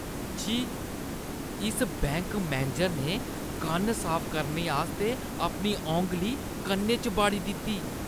छी। इस bank manager ने कन्न साफ करने आस्तै अपनी औंगली कन्नै च बाड़ी दित्ती ।